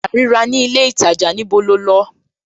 A à rí ra ní ilé ìtajà, níbo lo lọ?